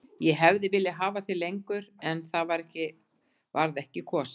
Ég hefði viljað hafa þig lengur en á það varð ekki kosið.